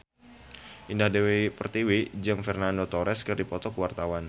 Indah Dewi Pertiwi jeung Fernando Torres keur dipoto ku wartawan